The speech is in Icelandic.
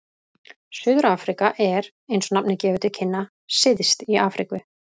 Suður-Afríka er, eins og nafnið gefur til kynna, syðst í Afríku.